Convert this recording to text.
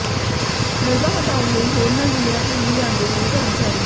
ਮਲਬਾ ਹਟਾਉਣ ਲਈ ਹੋਰਨਾਂ ਜ਼ਿਲਿਆਂ ਤੋਂ ਵੀ ਲਿਆਂਦੇ ਗਏ ਕਰਮਚਾਰੀ